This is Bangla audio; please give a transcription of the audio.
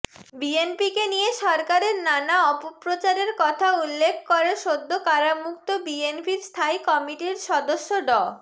বিএনপিকে নিয়ে সরকারের নানা অপপ্রচারের কথা উল্লেখ করে সদ্য কারামুক্ত বিএনপির স্থায়ী কমিটির সদস্য ড